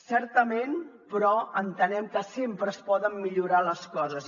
certament però entenem que sempre es poden millorar les coses